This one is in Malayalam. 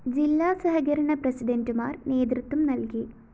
ജില്ലാ സഹകരണ പ്രസിഡന്റുമാര്‍ നേതൃത്വം നല്‍കി